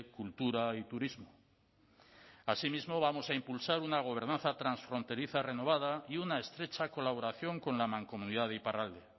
cultura y turismo asimismo vamos a impulsar una gobernanza transfronteriza renovada y una estrecha colaboración con la mancomunidad de iparralde